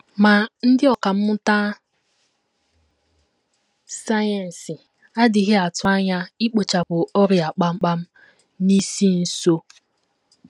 Ma, ndị ọkà mmụta sayensị adịghị atụ anya ikpochapụ ọrịa kpamkpam n’isi nso.